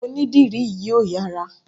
Onídìrí yìí ò yára.